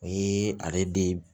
O ye ale den